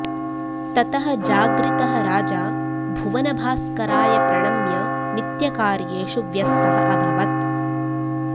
ततः जागृतः राजा भुवनभास्कराय प्रणम्य नित्यकार्येषु व्यस्तः अभवत्